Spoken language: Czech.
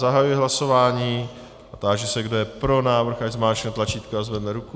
Zahajuji hlasování a táži se, kdo je pro návrh, ať zmáčkne tlačítko a zvedne ruku.